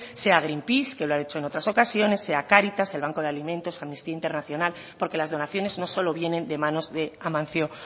sea greenpeace que lo ha hecho en otras ocasiones sea cáritas el banco de alimentos amnistía internacional porque las donaciones no solo vienen de manos de amancio